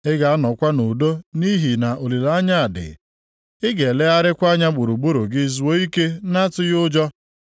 Ị ga-anọkwa nʼudo nʼihi na olileanya dị; ị ga-elegharịkwa anya gburugburu gị zuo ike na-atụghị ụjọ.